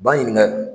Ba ɲininka